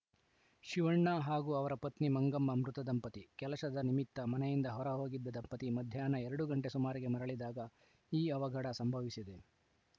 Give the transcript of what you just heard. ಶಿವಣ್ಣ ಹಾಗೂ ಅವರ ಪತ್ನಿ ಮಂಗಮ್ಮ ಮೃತ ದಂಪತಿ ಕೆಲಸದ ನಿಮಿತ್ತ ಮನೆಯಿಂದ ಹೊರ ಹೋಗಿದ್ದ ದಂಪತಿ ಮಧ್ಯಾಹ್ನ ಎರಡು ಗಂಟೆ ಸುಮಾರಿಗೆ ಮರಳಿದಾಗ ಈ ಅವಘಡ ಸಂಭವಿಸಿದೆ